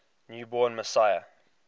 new born messiah